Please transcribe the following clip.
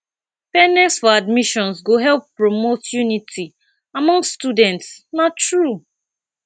fairness for admissions go help promote unity among students na true